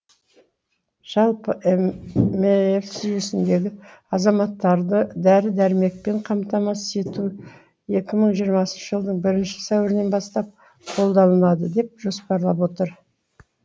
жалпы әмс жүйесіндегі азаматтарды дәрі дәрмекпен қамтамасыз ету екі мың жиырмасыншы жылдың бірінші сәуірінен бастап қолданылады деп жоспарлап отыр